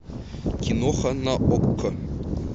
киноха на окко